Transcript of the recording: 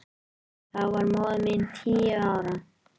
Þá var móðir mín tíu ára.